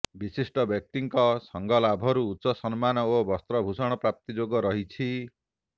ବିଶିଷ୍ଟବ୍ୟକ୍ତିଙ୍କ ସଙ୍ଗଲାଭରୁ ଉଚ୍ଚ ସମ୍ମାନ ଓ ବସ୍ତ୍ରଭୂଷଣ ପ୍ରାପ୍ତି ଯୋଗ ରହିଛି